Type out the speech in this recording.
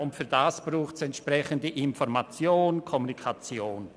Dafür braucht es entsprechende Informationen sowie Kommunikation.